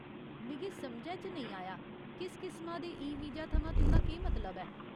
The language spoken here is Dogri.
मिगी समझै च नेईं आया, किस किसमा दे ईवीजा थमां तुं'दा केह् मतलब ऐ ?